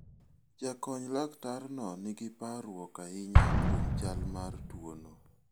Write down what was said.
Jakony laktarno nigi parruok ahinya kuom chal mar jotuo.